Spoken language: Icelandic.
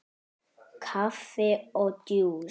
Kaffi og djús.